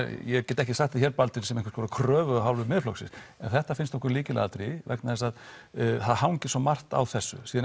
ég get ekki sagt það hér Baldvin sem einhvers konar kröfu af hálfu Miðflokksins en þetta finnst okkur lykilatriði vegna þess að það hangir svo margt á þessu síðan